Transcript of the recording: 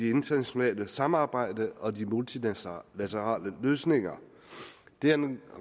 internationale samarbejde og de multilaterale løsninger det er en